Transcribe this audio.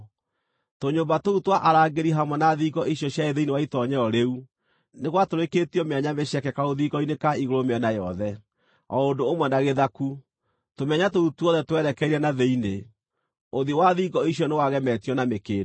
Tũnyũmba tũu twa arangĩri hamwe na thingo icio ciarĩ thĩinĩ wa itoonyero rĩu nĩ gwatũrĩkĩtio mĩanya mĩceke karũthingo-inĩ ka igũrũ mĩena yothe, o ũndũ ũmwe na gĩthaku; tũmĩanya tũu tuothe twerekeire na thĩinĩ. Ũthiũ wa thingo icio nĩwagemetio na mĩkĩndũ.